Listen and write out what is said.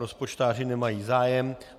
Rozpočtáři nemají zájem.